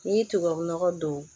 N'i ye tubabu nɔgɔ don